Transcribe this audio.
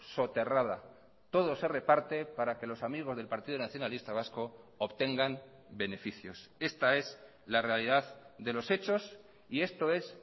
soterrada todo se reparte para que los amigos del partido nacionalista vasco obtengan beneficios esta es la realidad de los hechos y esto es